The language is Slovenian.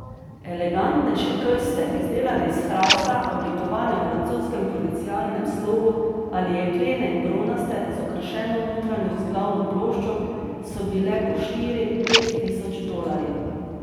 Elegantnejše krste, izdelane iz hrasta, oblikovane v francoskem provincialnem slogu, ali jeklene in bronaste, z okrašeno notranjo vzglavno ploščo, so bile po štiri, pet tisoč dolarjev.